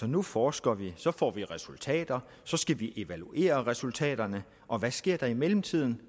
nu forsker vi så får vi resultater så skal vi evaluere resultaterne og hvad sker der i mellemtiden